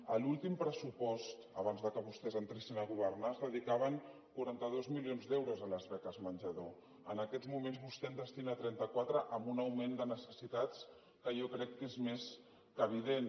a l’últim pressupost abans que vostès entressin a governar es dedicaven quaranta dos milions d’euros a les beques menjador en aquests moments vostè en destina trenta quatre amb un augment de necessitats que jo crec que és més que evident